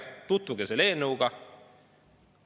Tutvuge selle eelnõuga!